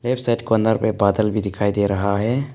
Set को अंदर में बादल भी दिखाई दे रहा है।